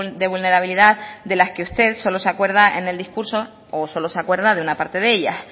de vulnerabilidad de las que usted solo se acuerda en el discurso o solo se acuerda de una parte de ellas